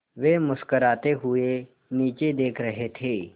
वे मुस्कराते हुए नीचे देख रहे थे